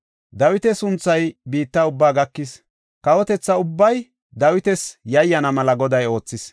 Dawita sunthay biitta ubbaa gakis. Kawotetha ubbay Dawitas yayyana mela Goday oothis.